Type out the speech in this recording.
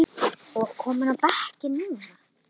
og kominn á bekkinn núna?